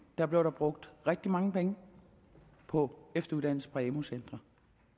der blev der brugt rigtig mange penge på efteruddannelse på amu centre